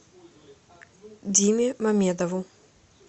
диме мамедову